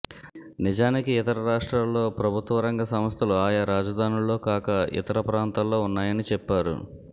నిజానికి ఇతర రాష్ట్రాల్లో ప్రభుత్వ రంగ సంస్థలు ఆయా రాజధానుల్లో కాక ఇతర ప్రాంతాల్లో ఉన్నాయని చెప్పారు